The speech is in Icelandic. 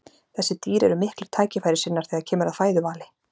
þessi dýr eru miklir tækifærissinnar þegar kemur að fæðuvali